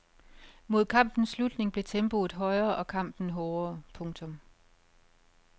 Mod kampens slutning blev tempoet højere og kampen hårdere. punktum